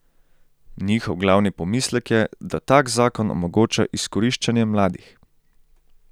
Njihov glavni pomislek je, da tak zakon omogoča izkoriščanje mladih.